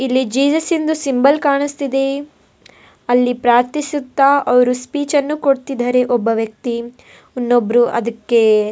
ಇಲ್ಲಿ ಜೀಸಸಿದ್ದು ಸಿಂಬಲ್ ಕಾಣಿಸ್ತಿದೆ ಅಲ್ಲಿ ಪ್ರಾರ್ಥಿಸುತ್ತ ಅಲ್ಲಿ ಸ್ಪೀಚನ್ನು ಕೊಡ್ತಿದ್ದಾರೆ ಒಬ್ಬ ವ್ಯಕ್ತಿ ಇನ್ನೊಬ್ರು ಅದಕ್ಕೆ --